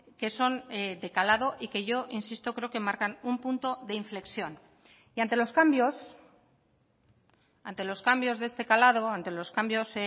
que son de calado y que yo insisto creo que marcan un punto de inflexión y ante los cambios ante los cambios de este calado ante los cambios